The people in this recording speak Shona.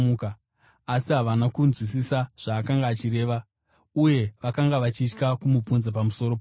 Asi havana kunzwisisa zvaakanga achireva uye vakanga vachitya kumubvunza pamusoro pazvo.